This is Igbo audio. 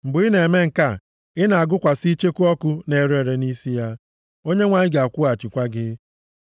Mgbe ị na-eme nke a, ị na-agụkwasị icheku ọkụ na-ere ere nʼisi ya, Onyenwe anyị ga-akwụghachikwa gị.